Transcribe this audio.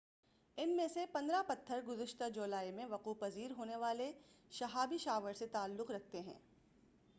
ان میں سے پندرہ پتھر گزشتہ جولائی میں وقوع پذیر ہونے والے شہابی شاور سے تعلق رکھتے ہیں